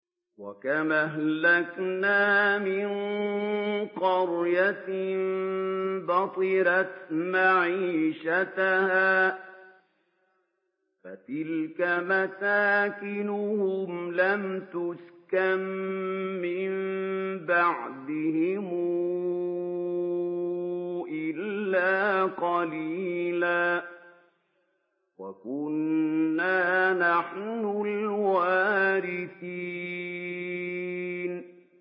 وَكَمْ أَهْلَكْنَا مِن قَرْيَةٍ بَطِرَتْ مَعِيشَتَهَا ۖ فَتِلْكَ مَسَاكِنُهُمْ لَمْ تُسْكَن مِّن بَعْدِهِمْ إِلَّا قَلِيلًا ۖ وَكُنَّا نَحْنُ الْوَارِثِينَ